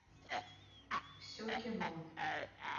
все кино